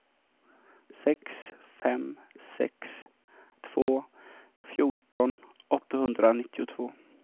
sex fem sex två fjorton åttahundranittiotvå